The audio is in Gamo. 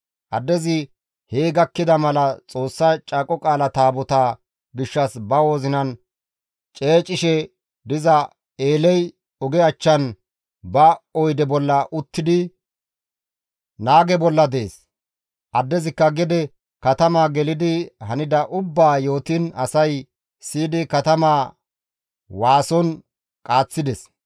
Addezi hee gakkida mala Xoossa Caaqo Qaala Taabotaa gishshas ba wozinan ceecishe diza Eeley oge achchan ba oyde bolla uttidi naage bolla dees; addezikka gede katamaa gelidi hanida ubbaa yootiin asay siyidi katamaa waason qaaththides.